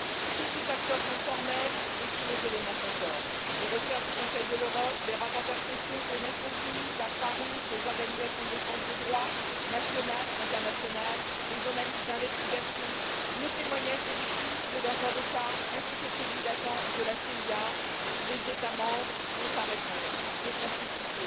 Tous ces acteurs sont formels et tous les éléments concordent les recherches du Conseil de l'Europe, les rapporteurs spéciaux des Nations unies, la Croix Rouge, les organisations nationales et internationales de défense des droits, les journalistes d'investigation, le témoignage des victimes, de leurs avocats ainsi que celui d'agents de la CIA les États membres ont à répondre de complicité